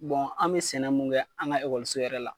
an bɛ sɛnɛ mun kɛ an ka ekɔliso yɛrɛ la